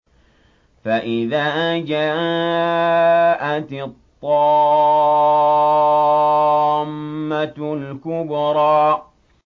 فَإِذَا جَاءَتِ الطَّامَّةُ الْكُبْرَىٰ